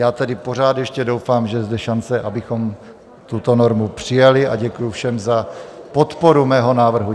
Já tedy pořád ještě doufám, že je zde šance, abychom tuto normu přijali, a děkuji všem za podporu mého návrhu.